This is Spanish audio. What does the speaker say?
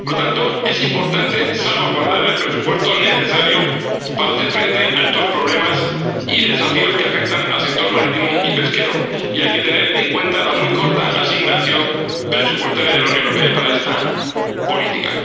Por lo tanto, es importante salvaguardar el presupuesto necesario para hacer frente a estos problemas y desafíos que afectan al sector marítimo y pesquero, y hay que tener en cuenta la muy corta asignación presupuestaria de la Unión Europea para esta política.